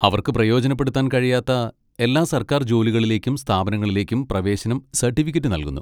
അവർക്ക് പ്രയോജനപ്പെടുത്താൻ കഴിയാത്ത എല്ലാ സർക്കാർ ജോലികളിലേക്കും സ്ഥാപനങ്ങളിലേക്കും പ്രവേശനം സർട്ടിഫിക്കറ്റ് നൽകുന്നു.